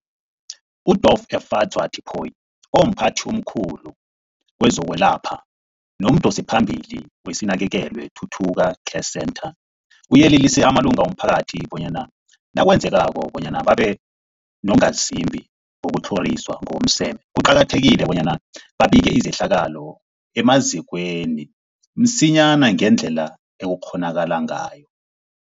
UDorh Efadzwa Tipoy, omphathi omkhulu kezokwelapha nomdosiphambili weSinakekelwe Thuthuzela Care Centre, uyelelise amalunga womphakathi bona nakwenzekako bona babe bongazimbi bokutlhoriswa ngokomseme, kuqakathekile bona babike izehlakalo emazikweni msinyana ngendlela ekungakghonakala ngayo.